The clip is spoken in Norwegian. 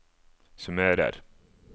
summerer